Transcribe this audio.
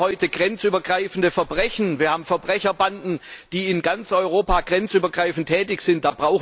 Wir haben heute grenzübergreifende Verbrechen, wir haben Verbrecherbanden, die in ganz Europa grenzübergreifend tätig sind.